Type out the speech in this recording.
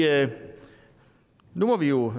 altså nu må vi jo